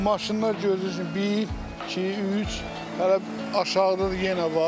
Bu maşınlar görürsüz bir, iki, üç, hələ aşağıda da yenə var.